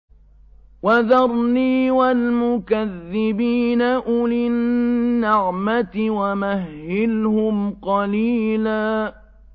وَذَرْنِي وَالْمُكَذِّبِينَ أُولِي النَّعْمَةِ وَمَهِّلْهُمْ قَلِيلًا